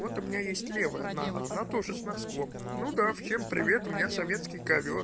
вот у меня есть левая нога она тоже с носком ну да всем привет у меня советский ковёр